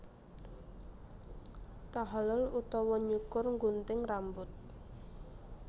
Tahallul utawa Nyukur nggunting rambut